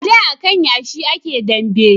A da a kan yashi a ke dambe